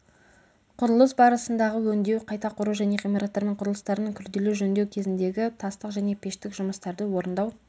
құрылыс барысындағы өңдеу қайта құру және ғимараттар мен құрылыстардың күрделі жөндеу кезіндегі тастық және пештік жұмыстарды орындау